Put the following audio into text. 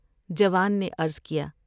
جوان نے عرض کیا ۔